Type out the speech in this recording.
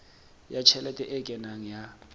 ya tjhelete e kenang ya